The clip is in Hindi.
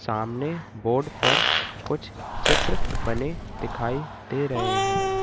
सामने बोर्ड पर कुछ चित्र बने दिखाई दे रहे हैं।